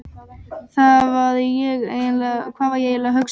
Hvað var ég eiginlega að hugsa?